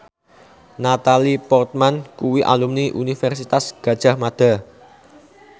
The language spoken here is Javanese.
Natalie Portman kuwi alumni Universitas Gadjah Mada